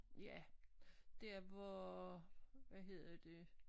Ja der hvor hvad hedder det